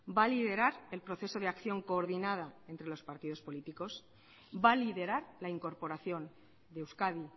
va a liderar el proceso de acción coordinada entre los partidos políticos va a liderar la incorporación de euskadi